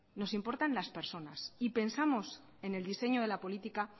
nos importan las personas y pensamos en el diseño de la política